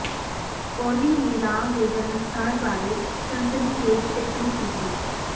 ਓਲੀ ਨੇ ਰਾਮ ਦੇ ਜਨਮਸਥਾਨ ਬਾਰੇ ਸਨਸਨੀਖੇਜ ਟਿੱਪਣੀ ਕੀਤੀ